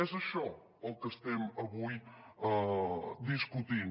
és això el que estem avui discutint